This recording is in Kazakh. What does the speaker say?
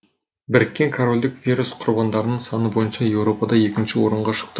біріккен корольдік вирус құрбандарының саны бойынша еуропада екінші орынға шықты